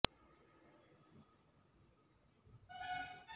ಆದರೆ ಬಿಸಿ ನೀರಿನ ಬೇಧವನ್ನು ಸಂದರ್ಭದಲ್ಲಿ ನಿರಂತರವಾದ ನೀರಿನ ಹೀಟರ್ ಮಾಹಿತಿ ಅನಿವಾರ್ಯ ಇರುತ್ತದೆ